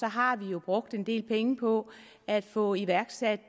har vi jo brugt en del penge på at få iværksat